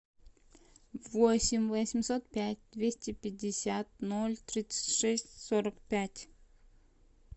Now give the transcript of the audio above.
восемь восемьсот пять двести пятьдесят ноль тридцать шесть сорок пять